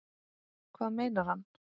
Hvað meinar hann?